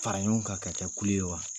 Fara ɲɔgɔn kan ka kɛ kulu ye wa?